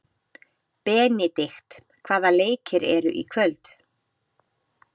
Benidikt, hvaða leikir eru í kvöld?